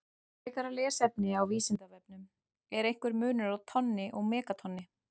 Frekara lesefni á Vísindavefnum: Er einhver munur á tonni og megatonni?